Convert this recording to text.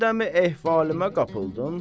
Sən dəm-i ehvalıma qapıldın?